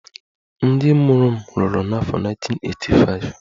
Ndị mụrụ m lụrụ n'afọ 1985